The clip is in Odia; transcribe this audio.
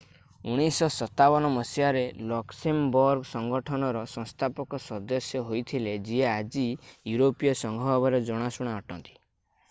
1957 ମସିହାରେ ଲକ୍ସେମବର୍ଗ ସଂଗଠନର ସଂସ୍ଥାପକ ସଦସ୍ୟ ହୋଇଥିଲେ ଯିଏ ଆଜି ୟୁରୋପୀୟ ସଂଘ ଭାବରେ ଜଣାଶୁଣା ଅଟନ୍ତି